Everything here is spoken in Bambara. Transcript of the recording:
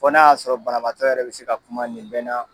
Fɔ n'a y'a sɔrɔ banabaatɔ yɛrɛ bɛ se ka kuma nin bɛɛ na